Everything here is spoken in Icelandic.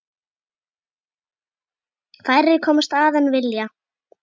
Færri komast að en vilja.